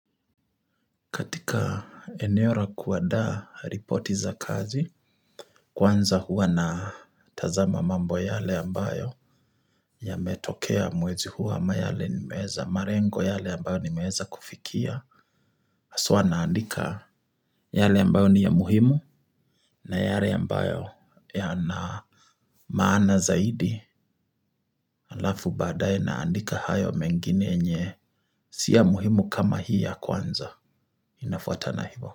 Katika eneo la kuandaa ripoti za kazi, kwanza huwa natazama mambo yale ambayo yametokea mwezi huo ama yale nimeweza malengo yale ambayo nimeweza kufikia. Haswa naandika yale ambayo ni ya muhimu na yale ambayo yana maana zaidi halafu baadaye naandika hayo mengine yenye si ya muhimu kama hii ya kwanza. Inafuatana hivyo.